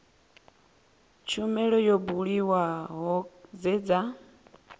tshumelo yo buliwaho dze dza